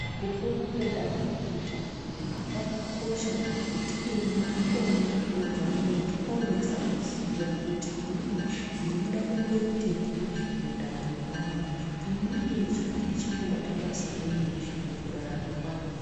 Kufunda kwedanto rechitatu kwakakosha ngekuti ino ndikona kunobva muntu onasa kuziya kuti inini ndinoda kumboitei mundaramo mangu inini ndichange ndeimbobata basa renyi mukurarama mwangu.